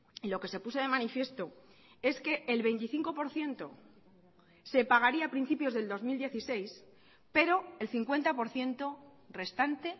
y lo que se puso de manifiesto es que el veinticinco por ciento se pagaría a principios del dos mil dieciséis pero el cincuenta por ciento restante